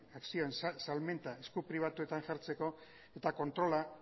akzioen salmenta esku pribatuetan jartzeko eta kontrola